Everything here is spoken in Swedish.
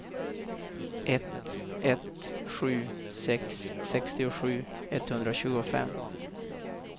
ett ett sju sex sextiosju etthundratjugofem